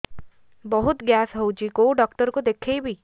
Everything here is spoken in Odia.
ବହୁତ ଗ୍ୟାସ ହଉଛି କୋଉ ଡକ୍ଟର କୁ ଦେଖେଇବି